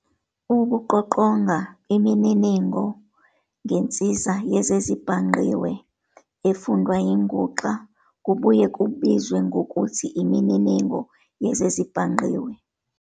Ukuqoqonga imininingo ngensiza yezezibhangqiwe, efundwa yinguxa kubuye kubizwe ngokuthi "imininingo yezezibhangqiwe".